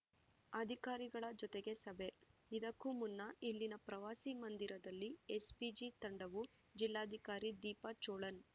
ಅಧಿಕಾರಿಗಳ ಜತೆಗೆ ಸಭೆ ಇದಕ್ಕೂ ಮುನ್ನ ಇಲ್ಲಿನ ಪ್ರವಾಸಿ ಮಂದಿರದಲ್ಲಿ ಎಸ್‌ಪಿಜಿ ತಂಡವು ಜಿಲ್ಲಾಧಿಕಾರಿ ದೀಪಾ ಚೋಳನ್‌